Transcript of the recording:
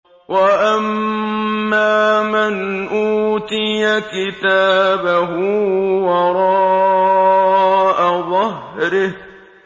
وَأَمَّا مَنْ أُوتِيَ كِتَابَهُ وَرَاءَ ظَهْرِهِ